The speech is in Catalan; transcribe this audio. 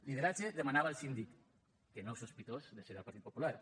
lideratge demanava el síndic que no és sospitós de ser del partit popular